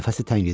Nəfəsi tənqidi.